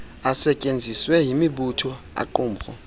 asetyenziswe yimibutho aaqumrhu